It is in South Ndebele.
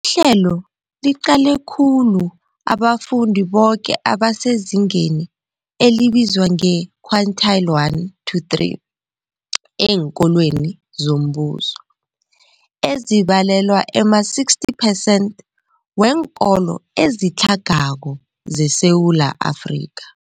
Ihlelo liqale khulu abafundi boke abasezingeni elibizwa nge-quintile 1-3 eenkolweni zombuso, ezibalelwa ema-60 phesenthi weenkolo ezitlhagako zeSewula Afrika.